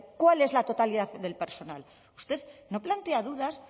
cuál es la totalidad del personal usted no plantea dudas